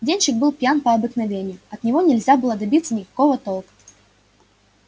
денщик был пьян по обыкновению от него нельзя было добиться никакого толка